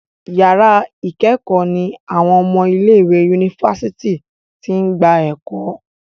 yàrá ikẹkọ ní àwọn ọmọ ilé ìwé Yunifásitìni t'in gbà eko.